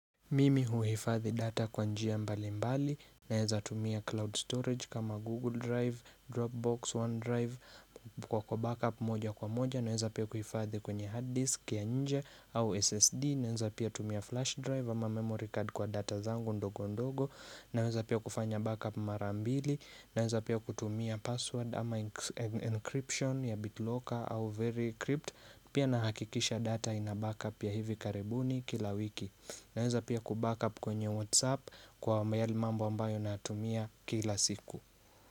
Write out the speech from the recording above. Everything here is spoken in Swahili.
Mimi huhifadhi data kwa njia mbali mbali naeza tumia cloud storage kama google drive, dropbox, one drive kwa backup moja kwa moja naeza pia kuhifadhi kwenye hard disk ya nje au ssd naeza pia tumia flash drive ama memory card kwa data zangu ndogo ndogo naeza pia kufanya backup mara mbili naeza pia kutumia password ama encryption ya bitlocker au very crypt pia nahakikisha data ina backup ya hivi karibuni kila wiki Naeza pia kuback up kwenye Whatsapp kwa yale mambo ambayo natumia kila siku.